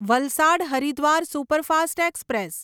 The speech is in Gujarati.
Valsad Haridwar superfast express